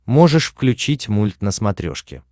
можешь включить мульт на смотрешке